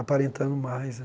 Aparentando mais, né.